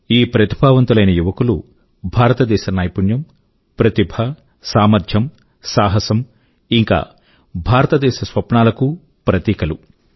ఈ ప్రతిభావంతులైన యువకులు భారతదేశ నైపుణ్యం ప్రతిభ సామర్థ్యం సాహసం ఇంకా భారతదేశ స్వప్నాలకూ ప్రతీకలు